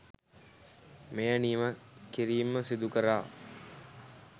මෙය නිම කිරීම සිදු කරා.